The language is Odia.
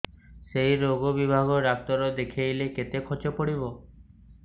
ସେଇ ରୋଗ ବିଭାଗ ଡ଼ାକ୍ତର ଦେଖେଇଲେ କେତେ ଖର୍ଚ୍ଚ ପଡିବ